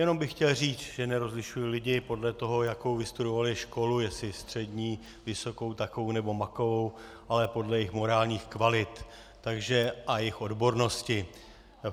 Jenom bych chtěl říct, že nerozlišuji lidi podle toho, jakou vystudovali školu, jestli střední, vysokou, takovou nebo makovou, ale podle jejich morálních kvalit a jejich odbornosti.